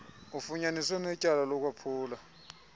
ufunyaniswe enetyala lokwaphula